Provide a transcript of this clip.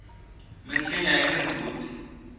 minsinya yina ndzhuti